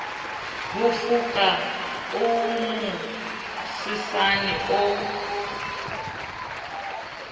ho foka o mosesane o